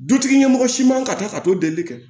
Dutigi ɲɛmɔgɔ si man kan ka taa ka t'o delili kɛ